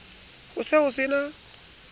ho se ho se na